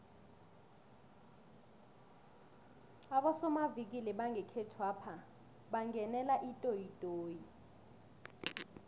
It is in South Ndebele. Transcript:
abosomavikili bangekhethwapha bangenele itoyitoyi